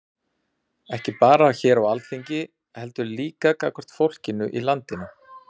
Ekki bara hér á Alþingi heldur líka gagnvart fólkinu í landinu?